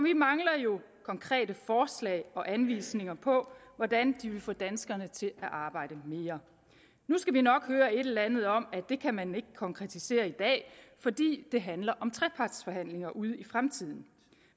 jo konkrete forslag og anvisninger på hvordan de vil få danskerne til at arbejde mere nu skal vi nok høre et eller andet om at det kan man ikke konkretisere i dag fordi det handler om trepartsforhandlinger ude i fremtiden